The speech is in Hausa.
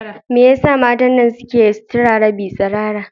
Me yasa matan nan suke sutura rabin tsirara?